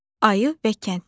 Ayı və Kəndli.